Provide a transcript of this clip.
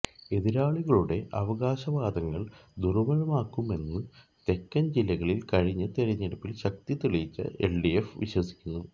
എതിരാളികളുടെ അവകാശവാദങ്ങൾ ദുർബലമാകുമെന്നു തെക്കൻ ജില്ലകളിൽ കഴിഞ്ഞ തിരഞ്ഞെടുപ്പിൽ ശക്തി തെളിയിച്ച എൽഡിഎഫ് വിശ്വസിക്കുന്നു